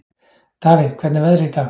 Davíð, hvernig er veðrið í dag?